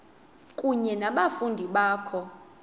kunye nabafundi bakho